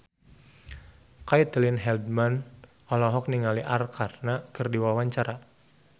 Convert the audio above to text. Caitlin Halderman olohok ningali Arkarna keur diwawancara